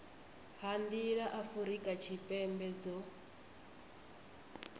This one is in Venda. ha nḓila afurika tshipembe dzo